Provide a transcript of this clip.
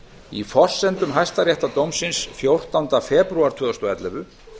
í forsendum hæstaréttardómsins fjórtánda febrúar tvö þúsund og ellefu